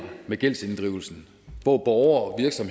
med gældsinddrivelsen hvor borgeres og